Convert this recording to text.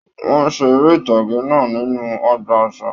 Wọn ṣe eré ìtàgé náà nínú ọgbà àṣà.